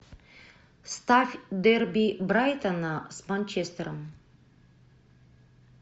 ставь дерби брайтона с манчестером